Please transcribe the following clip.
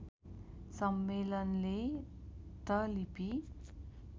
सम्मेलनले त लिपि